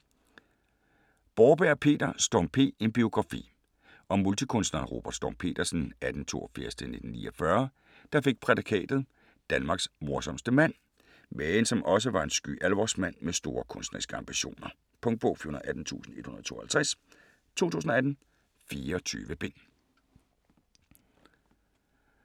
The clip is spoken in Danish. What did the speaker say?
Borberg, Peter: Storm P.: en biografi Om multikunstneren Robert Storm Petersen (1882-1949), der fik prædikatet "Danmarks morsomste mand", men som også var en sky alvorsmand med store kunstneriske ambitioner. Punktbog 418152 2018. 24 bind.